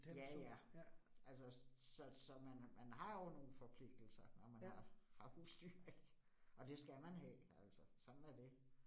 Ja ja, altså så så man man har jo nogle forpligtelser, når man har har husdyr ik. Og det skal man have altså. Sådan er det